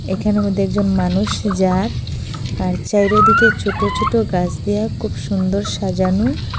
এখানো মধ্যে একজন মানুষ যার আর চাইরোদিকে ছোট ছোট গাছ দিয়া খুব সুন্দর সাজানো।